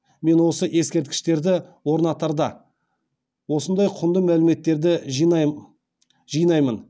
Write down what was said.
мен осы ескерткіштерді орнатарда осындай құнды мәліметтерді жинаймын